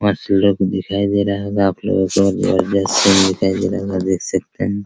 मस्त लुक दिखाई दे रहा होगा आप लोगो को जबरदस्त सिन दिखाई दे रहा होगा आप देख सकते हैं |